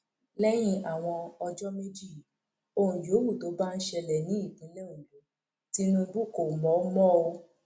lẹyìn àwọn ọjọ méjì yìí ohun yòówù tó bá ń ṣẹlẹ ní ìpínlẹ ondo tinubu kò mọ mọ o